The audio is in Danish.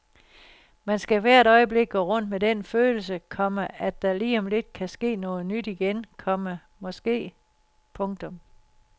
Man skal hvert øjeblik gå rundt med den følelse, komma at der lige om lidt kan ske noget nyt igen, komma måske. punktum